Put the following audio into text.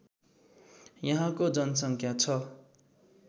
यहाँको जनसङ्ख्या ६